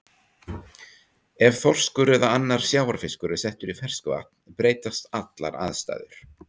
Ef þorskur eða annar sjávarfiskur er settur í ferskvatn breytast allar aðstæður.